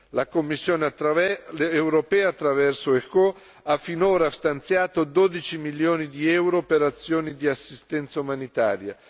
La Commissione europea, attraverso ECHO, ha finora stanziato 12 milioni di euro per azioni di assistenza umanitaria.